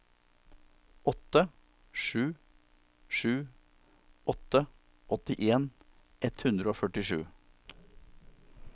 åtte sju sju åtte åttien ett hundre og førtisju